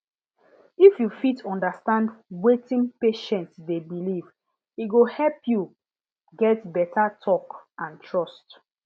if you fit understand wetin patient dey believe e go help you get beta talk and trust